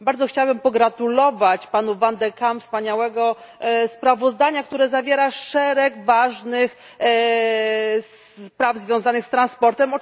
Bardzo chciałabym pogratulować panu van de Campowi wspaniałego sprawozdania, które zawiera szereg ważnych spraw związanych z transportem.